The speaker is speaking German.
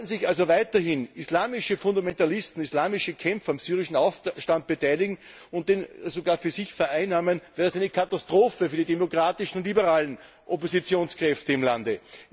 Sollten sich also weiterhin islamische Fundamentalisten, islamische Kämpfer am syrischen Aufstand beteiligen und den sogar für sich vereinnahmen, wäre es eine Katastrophe für die demokratischen und liberalen Oppositionskräfte im Lande.